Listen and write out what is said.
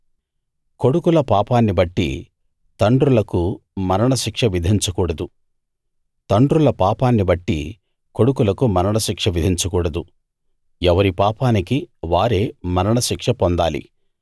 కొడుకుల పాపాన్నిబట్టి తండ్రులకు మరణశిక్ష విధించకూడదు తండ్రుల పాపాన్ని బట్టి కొడుకులకు మరణశిక్ష విధించకూడదు ఎవరి పాపానికి వారే మరణశిక్ష పొందాలి